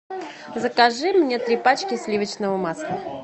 закажи мне три пачки сливочного масла